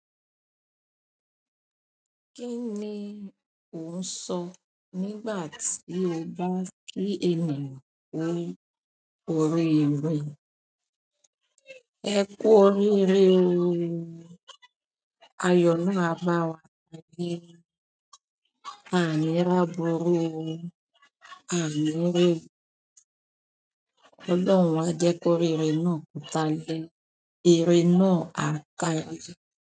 Kíni òun sọ nígbà tí o bá rí ènìyàn ni orí. Ẹ kú oríire o. Ayọ̀ náà máa bá wa kalẹ̀. Àni rí aburú o. Ànì rí, Ọlọ́run a jẹ́ koríire náà kodàlẹ. Ire náà a kári."